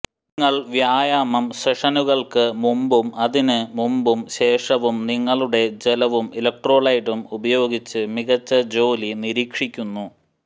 നിങ്ങൾ വ്യായാമം സെഷനുകൾക്ക് മുമ്പും അതിന് മുമ്പും ശേഷവും നിങ്ങളുടെ ജലവും ഇലക്ട്രോലൈഡും ഉപയോഗിച്ച് മികച്ച ജോലി നിരീക്ഷിക്കുന്നു